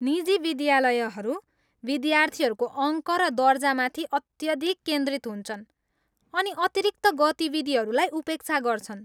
निजी विद्यालयहरू विद्यार्थीहरूको अङ्क र दर्जामाथि अत्यधिक केन्द्रित हुन्छन् अनि अतिरिक्त गतिविधिहरूलाई उपेक्षा गर्छन्।